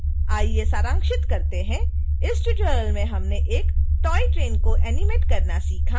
आइए सारांशित करते हैं इस ट्यूटोरियल में हमने एक toy train को एनीमेट करना सीखा